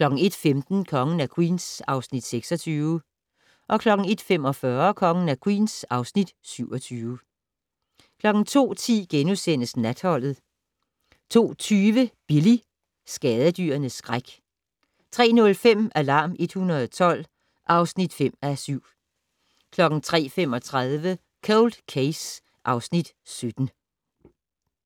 01:15: Kongen af Queens (Afs. 26) 01:45: Kongen af Queens (Afs. 27) 02:10: Natholdet * 02:40: Billy - skadedyrenes skræk 03:05: Alarm 112 (5:7) 03:35: Cold Case (Afs. 17)